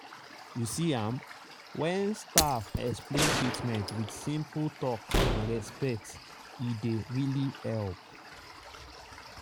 you see am—when staff explain treatment with simple talk and respect e dey really help.